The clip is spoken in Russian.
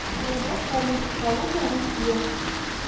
продать валюту калуга россия